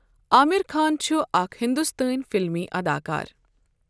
عامر خان چھُ آكھ ہِندوستٲنؠ فِلِمی اَداکار.